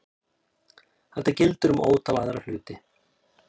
Þetta gildir um ótal aðra hluti.